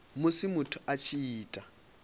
musi muthu a tshi ita